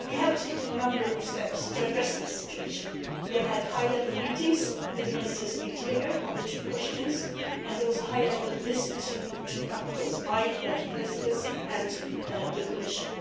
We have taken a number of steps to address this situation we have had high level meetings with the Ministers of the Interior on the two questions, and there was a high level visit to the two capitals by the Belgian Presidency and the Commission.